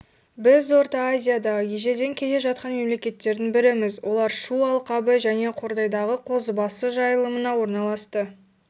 біз орта азиядағы ежелден келе жатқан мемлекеттердің біріміз олар шу алқабы және қордайдағы қозыбасы жайылымына орналасты